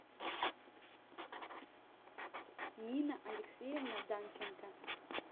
нина алексеевна данченко